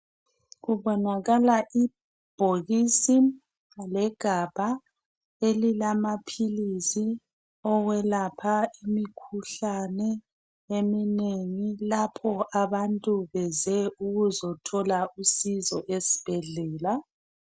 Kubonakala ibhokisi legabha elilamaohilisi okwelapha imkhuhlane eminengi lapho abantu beze ukuzothola usizo esibhedlela